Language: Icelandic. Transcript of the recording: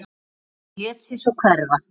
Lét sig svo sjálfur hverfa.